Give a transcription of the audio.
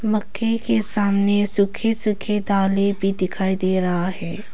मक्के के सामने सुखे सुखे दाले भी दिखाई दे रहा है।